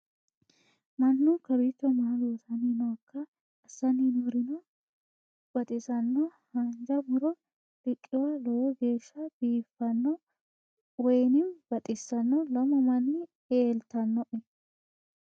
mannu kawiicho maa loosanni nooikka assanni noorino ho baxisanno haanja muro riqiwa lowo geeshsha biiffanno woynimmi baxissanno lamu manni eeltannnoe